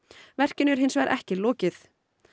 verkinu er hins vegar ekki lokið